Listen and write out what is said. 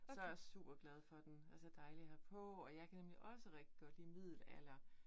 Så jeg super glad for den, er så dejlig at have på, og jeg kan nemlig også rigtig godt lide middelalder